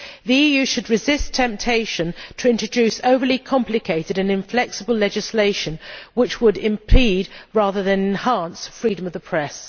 The EU should resist the temptation to introduce overly complicated and inflexible legislation which would impede, rather than enhance, freedom of the press.